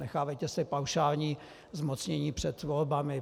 Nenechávejte si paušální zmocnění před volbami.